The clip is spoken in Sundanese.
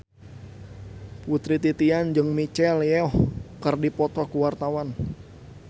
Putri Titian jeung Michelle Yeoh keur dipoto ku wartawan